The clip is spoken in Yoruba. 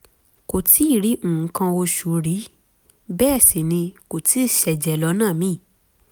kò tíì rí nǹkan oṣù rí bẹ́ẹ̀ sì ni kò tíì ṣẹ̀jẹ̀ lọ́nà míì